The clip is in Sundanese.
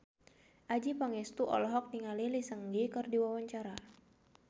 Adjie Pangestu olohok ningali Lee Seung Gi keur diwawancara